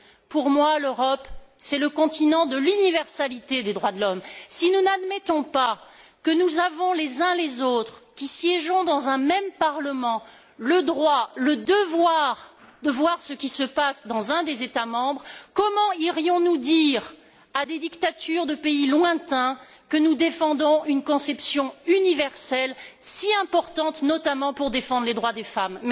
Pour moi, l'Europe, c'est le continent de l'universalité des droits de l'homme. Si nous n'admettons pas que nous avons, les uns et les autres qui siégeons dans un même Parlement, le droit, le devoir de voir ce qui se passe dans un des États membres, comment irions nous dire à des dictatures de pays lointains que nous défendons une conception universelle, si importante notamment pour défendre les droits des femmes?